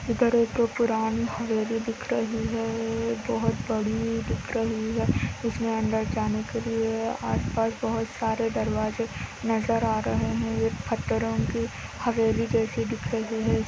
इधर पुरानी हवेली दिखाई दे रही है बहुत बड़ी दिख रही है | ये बहुत बड़े दिक् रही हे उसमे अंदर जाने केलिए अस पास बहुत सरे दरवाजा नजरआ रहे हे ये पातर ओ की हवेली जैसी दिक् रही हे |